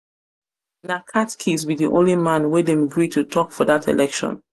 catchiest be di only man wey them gree to talk for that election.